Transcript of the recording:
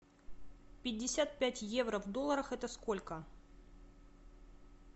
пятьдесят пять евро в долларах это сколько